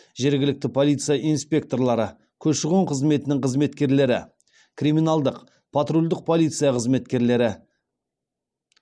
жергілікті полиция инспекторлары көші қон қызметінің қызметкерлері криминалдық патруль полиция қызметкерлері